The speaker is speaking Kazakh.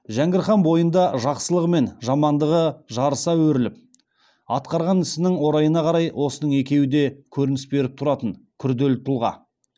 жәңгір хан бойында жақсылығы мен жамандығы жарыса өріліп атқарған ісінен орайына қарай осының екеуі де көрініс беріп тұратын күрделі тұлға